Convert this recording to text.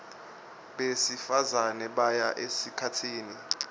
besifazane baya esikhatsini